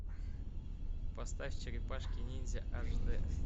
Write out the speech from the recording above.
поставь черепашки ниндзя аш дэ